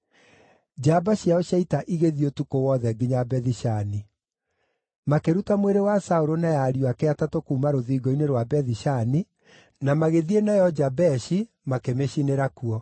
njamba ciao cia ita igĩthiĩ ũtukũ wothe nginya Bethi-Shani. Makĩruta mwĩrĩ wa Saũlũ na ya ariũ ake atatũ kuuma rũthingo-inĩ rwa Bethi-Shani, na magĩthiĩ nayo Jabeshi, magĩcooka makĩmĩcinĩra kuo.